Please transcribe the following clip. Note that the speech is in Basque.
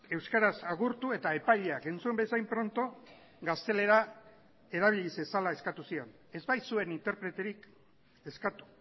euskaraz agurtu eta epaileak entzun bezain pronto gaztelera erabili zezala eskatu zion ez baitzuen interpreterik eskatu